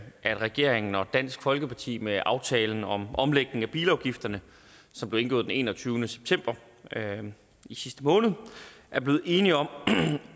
at regeringen og dansk folkeparti med aftalen om omlægning af bilafgifterne som blev indgået den enogtyvende september i sidste måned er blevet enige om